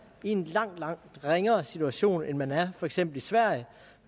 i en langt langt ringere situation end man er for eksempel i sverige